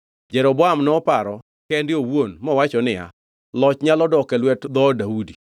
Jeroboam noparo kende owuon mowacho niya, “Loch nyalo dok e lwet dhood Daudi.